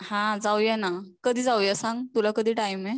हा जाऊया ना, कधी जाऊया सांग? तुला कधी टाईम आहे?